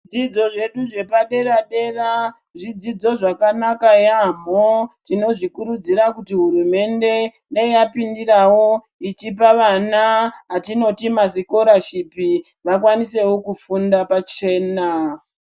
Zvepaderadera zvidzidzo zvakanaka yaamho tinozvikurudzira kut hurumende dai yapindirawo ichipa vana atinoti masikorashipi vakwanisewo kufunda pachena.